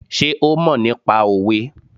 Sé ó mọ̀ nípa òwe?